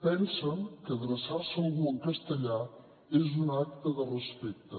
pensen que adreçar se a algú en castellà és un acte de respecte